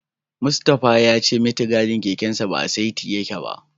Mustapha ya ce mitigarin kekensa ba a saiti yake ba.